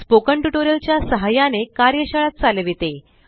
spoken tutorial च्या सहाय्याने कार्यशाळा चालविते